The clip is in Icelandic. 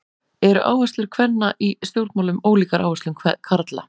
Eru áherslur kvenna í stjórnmálum ólíkar áherslum karla?